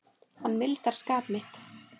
Hann mildar skap mitt.